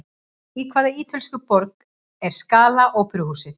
Í hvaða ítölsku borg er Scala óperuhúsið?